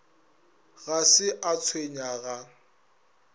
ga se a tshwenya ga